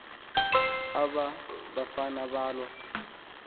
aba bafana balwa